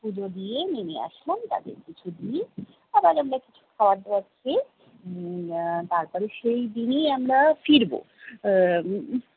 পুজো দিয়ে নেমে আসলাম তাদের কিছু দিয়ে। আবার আমরা কিছু খাওয়ার দাওয়ার খেয়ে উম আহ তারপর সেইদিনই আমরা ফিরবো আহ উম